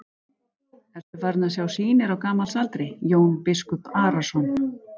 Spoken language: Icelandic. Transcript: Ertu farinn að sjá sýnir á gamals aldri, Jón biskup Arason?